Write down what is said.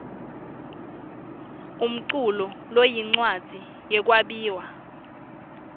umculu loyincwadzi yekwabiwa